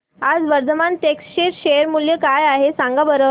आज वर्धमान टेक्स्ट चे शेअर मूल्य काय आहे सांगा बरं